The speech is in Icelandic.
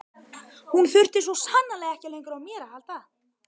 Hún þurfti svo sannarlega ekki lengur á mér að halda.